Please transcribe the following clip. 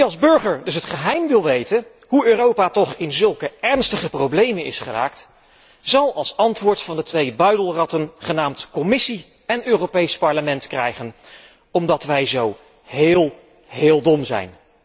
Wie als burger dus het geheim wil weten hoe Europa toch in zulke ernstige problemen is geraakt, zal als antwoord van de twee buidelratten genaamd Commissie en Europees Parlement krijgen omdat wij zo heel, heel dom zijn.